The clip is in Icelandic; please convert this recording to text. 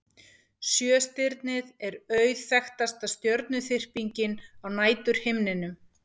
sjöstirnið er auðþekktasta stjörnuþyrpingin á næturhimninum